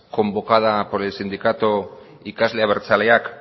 convocada por el sindicato ikasle abertzaleak